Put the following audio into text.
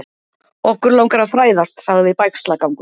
Okkur langar að fræðast sagði Bægslagangur.